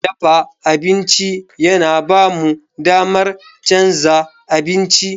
Dafa abinci yana ba mu damar canza abinci.